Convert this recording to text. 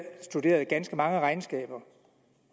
studeret ganske mange regnskaber